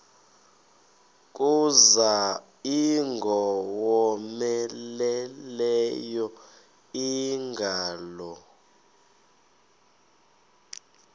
kuza ingowomeleleyo ingalo